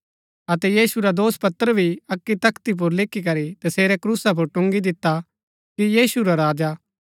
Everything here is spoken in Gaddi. अतै तसेरा दोषपत्र भी अक्की तख्ती पुर लिखीकरी तसेरै क्रूसा पुर टुन्गी दिता कि यहूदी रा राजा